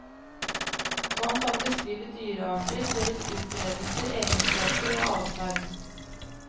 Man kan beskrive dyrearter, deres utbredelse, egenskaper og adferd.